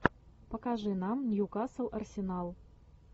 покажи нам ньюкасл арсенал